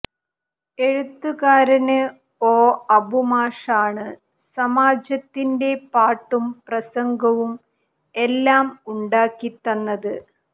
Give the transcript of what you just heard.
എഴുത്തുകാരന് ഒ അബു മാഷാണ് സമാജത്തിന്റെ പാട്ടും പ്രസംഗവും എല്ലാം ഉണ്ടാക്കി തന്നത്